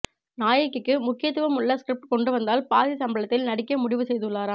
நாயகிக்கு முக்கியத்துவம் உள்ள ஸ்கிரிப்ட் கொண்டு வந்தால் பாதி சம்பளத்தில் நடிக்க முடிவு செய்துள்ளாராம்